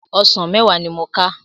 Òsán mèwá ni mó ká